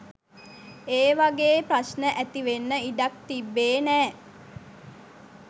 ඒ වගේ ප්‍රශ්න ඇතිවෙන්න ඉඩක් තිබ්බේ නෑ.